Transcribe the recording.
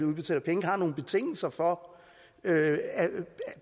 udbetaler penge har nogle betingelser for